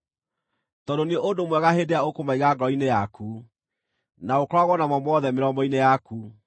tondũ nĩ ũndũ mwega hĩndĩ ĩrĩa ũkũmaiga ngoro-inĩ yaku, na ũkoragwo namo mothe mĩromo-inĩ yaku.